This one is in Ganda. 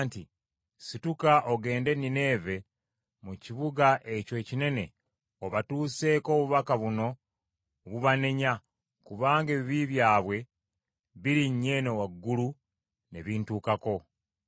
nti, “Situka ogende e Nineeve mu kibuga ekyo ekinene obatuuseeko obubaka buno obubanenya, kubanga ebibi byabwe birinnye eno waggulu ne bintukako.”